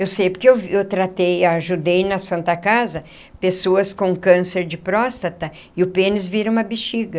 Eu sei, porque eu tratei e ajudei na Santa Casa pessoas com câncer de próstata e o pênis vira uma bexiga.